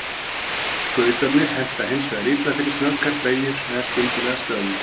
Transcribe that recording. Skautarnir henta hins vegar illa fyrir snöggar beygjur eða skyndilega stöðvun.